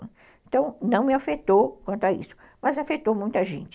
Então, não me afetou quanto a isso, mas afetou muita gente.